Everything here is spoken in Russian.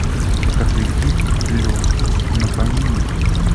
покажи фильм легок на помине